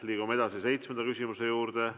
Liigume edasi seitsmenda küsimuse juurde.